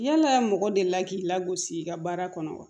Yala mɔgɔ delila k'i lagosi i ka baara kɔnɔ wa